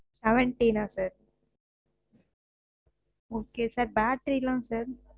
seventeen ஆஹ் sir? okay sir battery லா sir?